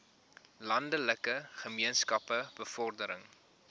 landelike gemeenskappe bevordering